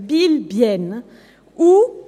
Biel/Bienne »